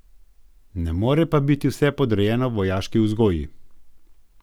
Ne more pa biti vse podrejeno vojaški vzgoji.